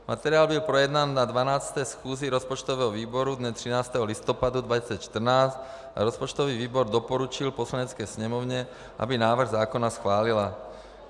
Materiál byl projednán na 12. schůzi rozpočtového výboru dne 13. listopadu 2014 a rozpočtový výbor doporučil Poslanecké sněmovně, aby návrh zákona schválila.